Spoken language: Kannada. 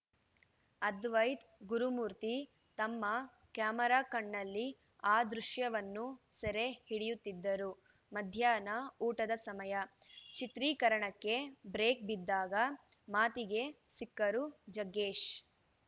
ಅದ್ವೈತ್‌ ಗುರುಮೂರ್ತಿ ತಮ್ಮ ಕ್ಯಾಮರಾ ಕಣ್ಣಲ್ಲಿ ಆ ದೃಶ್ಯವನ್ನು ಸೆರೆ ಹಿಡಿಯುತ್ತಿದ್ದರು ಮಧ್ಯಾಹ್ನ ಊಟದ ಸಮಯ ಚಿತ್ರೀಕರಣಕ್ಕೆ ಬ್ರೇಕ್‌ ಬಿದ್ದಾಗ ಮಾತಿಗೆ ಸಿಕ್ಕರು ಜಗ್ಗೇಶ್‌